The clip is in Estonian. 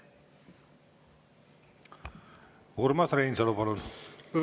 Urmas Reinsalu, palun!